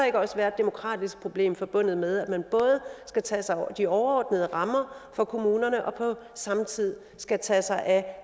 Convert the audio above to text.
ikke også være et demokratisk problem forbundet med at man både skal tage sig af de overordnede rammer for kommunerne og på samme tid skal tage sig af